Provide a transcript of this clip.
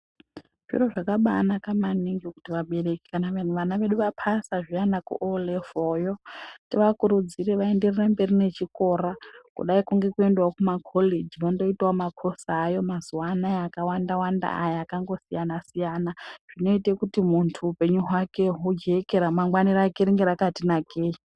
Zviro zvakabaanaka maningi kuti vabereki kana vana vedu vapasa zviyani kuO Level yo tivakurudzire vaenderere mberi nechikora kudayi ngekuendawo kumakoreji vandoitawo makosi aayo mazuwa ano akawanda wanda akangosiyana siyana zvinoite kuti muntu upenyu hwake hujeke ramangwani rake ringe rakati nakei.